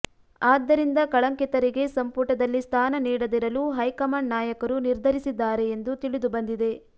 ಆದ್ದರಿಂದ ಕಳಂಕಿತರಿಗೆ ಸಂಪುಟದಲ್ಲಿ ಸ್ಥಾನ ನೀಡದಿರಲು ಹೈ ಕಮಾಂಡ್ ನಾಯಕರು ನಿರ್ಧರಿಸಿದ್ದಾರೆ ಎಂದು ತಿಳಿದು ಬಂದಿದೆ